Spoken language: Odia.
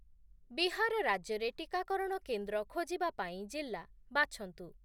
ବିହାର ରାଜ୍ୟରେ ଟିକାକରଣ କେନ୍ଦ୍ର ଖୋଜିବା ପାଇଁ ଜିଲ୍ଲା ବାଛନ୍ତୁ ।